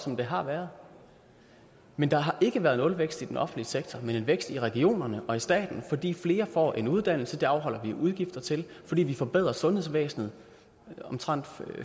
som det har været men der har ikke været en nulvækst i den offentlige sektor men en vækst i regionerne og i staten fordi flere får en uddannelse og det afholder vi udgifter til fordi vi forbedrer sundhedsvæsenet med omtrent